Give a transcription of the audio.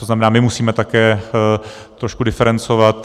To znamená, že musíme také trošku diferencovat.